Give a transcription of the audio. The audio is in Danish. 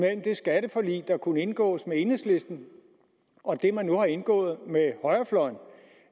det skatteforlig der kunne indgås med enhedslisten og det man nu har indgået med højrefløjen